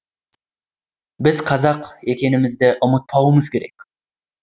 біз қазақ екенімізді ұмытпауымыз керек